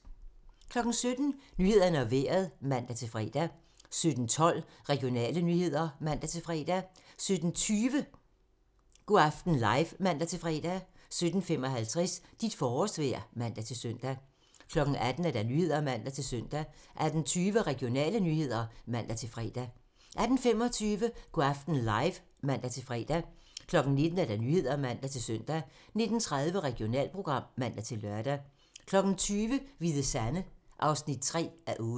17:00: Nyhederne og Vejret (man-fre) 17:12: Regionale nyheder (man-fre) 17:20: Go' aften live (man-fre) 17:55: Dit forårsvejr (man-søn) 18:00: Nyhederne (man-søn) 18:20: Regionale nyheder (man-fre) 18:25: Go' aften live (man-fre) 19:00: Nyhederne (man-søn) 19:30: Regionalprogram (man-lør) 20:00: Hvide Sande (3:8)